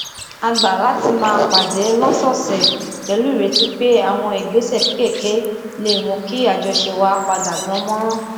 a gbà láti máa pàdé lósòòsè pèlú ìrètí pé àwọn ìgbésè kéékèèké lè mú kí àjọṣe wa padà dán mọrán